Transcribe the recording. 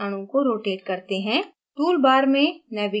अब panel पर अणु को rotate हैं